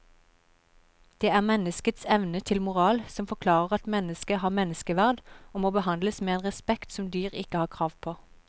Det er menneskets evne til moral som forklarer at mennesket har menneskeverd og må behandles med en respekt som dyr ikke har krav på.